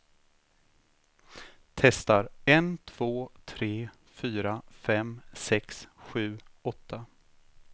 Testar en två tre fyra fem sex sju åtta.